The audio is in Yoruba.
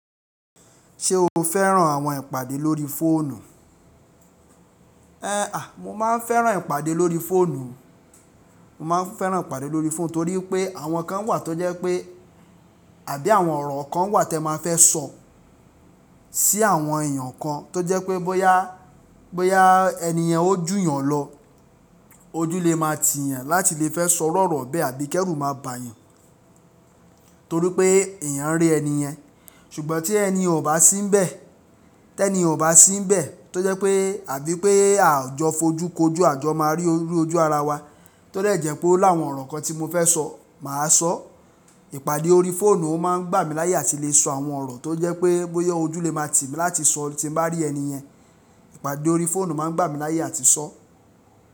Ṣé o fẹ́ran àwọn ìpàdé lórí fóònù? É à, mo máa ń fẹ́ran ìpàdé lórí fóònù. Mo máa ń fẹ́ran ìpàdé lórí fóònù torí pé àwọn kan wà tó jẹ́ pé àbí àwọn ọ̀rọ̀ kan wà tí ẹ máa fẹ́ sọ sí àwọn èèyàn kan tó jẹ́ pé bóyá, bóyá èniyen ó jù yàn lọ, ojú lè máa tì yàn láti lè fẹ́ sọ iru-ọ̀rọ̀ bẹ́ẹ̀ àbí kẹrù máa bà yàn torí pé èèyàn ń rí èniyen. Ṣùgbọ́n tí ẹni ò bá sí nbẹ̀, tẹniyen ò bá sí nbẹ̀, tó jẹ́ pé àbí pé à jọ fojú kojú a jọ máa rí ojú ara wa tó lè jẹ́ pé oni awọn ọ̀rọ̀ kan tí mo fẹ́ sọ mà á sọ. Ìpàdé orí fóònù ó máa ń gbà mí láyé àti lè sọ àwọn ọ̀rọ̀ tó jẹ́ pé bóyá ojú lè máa tì mí láti sọ tí mo bá rí èniyen. Ìpàdé orí fóònù máa ń gbà mí láyé àti sọ.